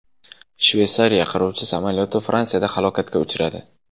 Shveysariya qiruvchi samolyoti Fransiyada halokatga uchradi.